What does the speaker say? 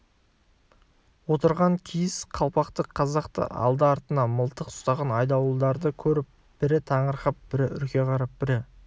отырған киіз қалпақты қазақты алды-артына мылтық ұстаған айдауылдарды көріп бірі таңырқап бірі үрке қарап бірі